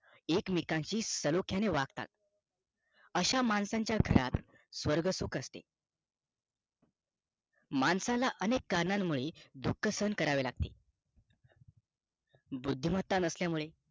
एकमेकांशी सलोख्याने वागतात अशा माणसाचा घरात स्वर्ग सुख असते माणसाला अनेक कारणामुळे दुःख सहन करावे लागते बुद्धिमत्ता नसल्यामुळे